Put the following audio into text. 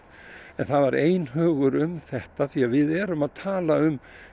en það var einhugur um þetta því við erum að tala um